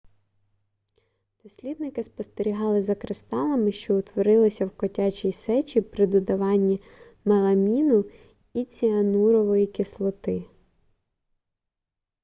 дослідники спостерігали за кристалами що утворилися в котячій сечі при додаванні меламіну і ціанурової кислоти